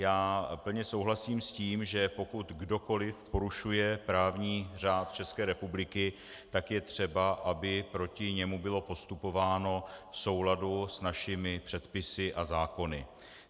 Já plně souhlasím s tím, že pokud kdokoli porušuje právní řád České republiky, tak je třeba, aby proti němu bylo postupováno v souladu s našimi předpisy a zákony.